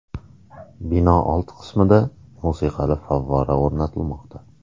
Bino old qismida musiqali favvora o‘rnatilmoqda.